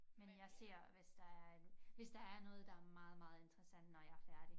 Men jeg ser hvis der er en hvis der er noget der er meget meget interessant når jeg er færdig